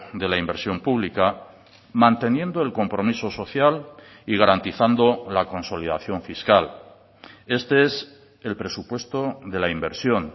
de la inversión pública manteniendo el compromiso social y garantizando la consolidación fiscal este es el presupuesto de la inversión